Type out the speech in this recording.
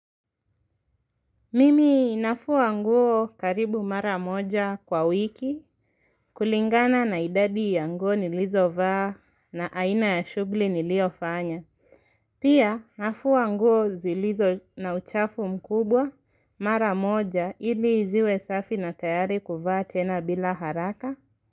Mimi nafua nguo karibu mara moja kwa wiki kulingana na idadi ya nguo nilizovaa na aina ya shughuli niliyofanya. Pia nafua nguo zilizo na uchafu mkubwa mara moja ili ziwe safi na tayari kuvaa tena bila haraka.